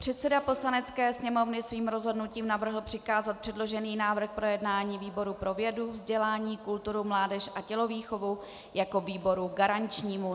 Předseda Poslanecké sněmovny svým rozhodnutím navrhl přikázat předložený návrh k projednání výboru pro vědu, vzdělání, kulturu, mládež a tělovýchovu jako výboru garančnímu.